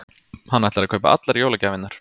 Hann ætlar að kaupa allar jólagjafirnar.